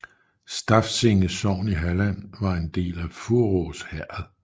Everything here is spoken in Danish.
Stafsinge sogn i Halland var en del af Faurås herred